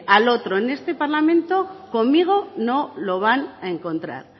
al otro en este parlamento conmigo no lo van a encontrar